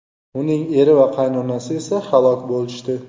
Uning eri va qaynonasi esa halok bo‘lishdi.